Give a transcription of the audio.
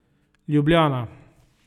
Ljubljana.